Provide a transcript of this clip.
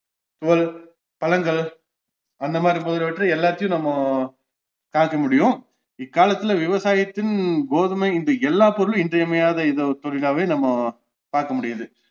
பழங்கள் அந்தமாதிரி முதலியவற்றை எல்லாத்தையும் நம்ம இக்காலத்துல விவசாயத்தின் கோதுமை இன்று எல்லா பொருளும் இன்றியமையாத இத~ தொழிலாவே நம்ம பாக்கமுடியுது